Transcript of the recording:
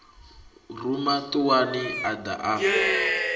ruma ṱuwani a ḓa a